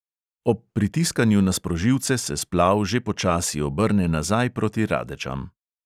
Ob pritiskanju na sprožilce se splav že počasi obrne nazaj proti radečam.